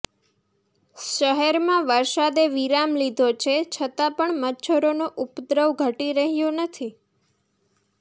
શહેરમાં વરસાદે વિરામ લીધો છે છતાં પણ મચ્છરોનો ઉપદ્રવ ઘટી રહ્યો નથી